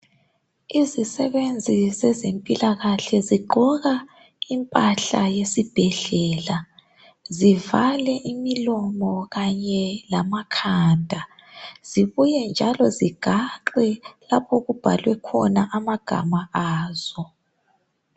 Izisebenzi zezempilakahle zigqoka impahla yesibhedlela zivale imilomo kanye lamakhanda zibuye njalo zigaxwe lapho okubhalwe khona amabizo azo.